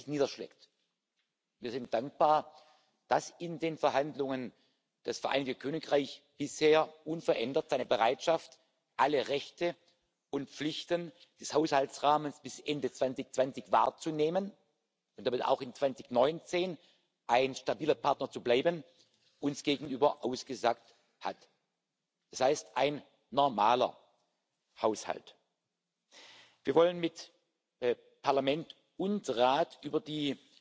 niederschlägt. Wir sind dankbar, dass in den Verhandlungen das Vereinigte Königreich bisher unverändert seine Bereitschaft, alle Rechte und Pflichten des Haushaltsrahmens bis Ende 2020 wahrzunehmen und damit auch 2019 ein stabiler Partner zu bleiben, uns gegenüber zugesagt hat. Das heißt ein normaler Haushalt. Wir wollen mit Parlament und Rat über